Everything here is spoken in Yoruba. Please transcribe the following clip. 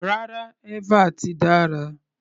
Rárá, eva ti dára.